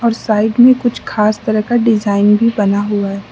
उस साइड में कुछ खास तरह का डिजाइन भी बना हुआ है।